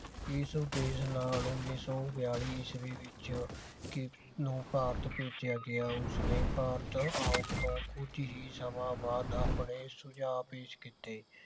ਇਸ ਉਦੇਸ਼ ਨਾਲ ਉੱਨੀ ਸੋ ਬਿਆਲੀ ਈਸਵੀ ਵਿਚ ਕਿ ਨੋ ਭਾਰਤ ਭੇਜਿਆ ਗਿਆ ਉਸਨੇ ਭਾਰਤ ਆਉਣ ਤੋਂ ਕੁਝ ਹੀ ਸਮਾਂ ਬਾਅਦ ਆਪਣੇ ਸੁਝਾਅ ਪੇਸ਼ ਕੀਤੇ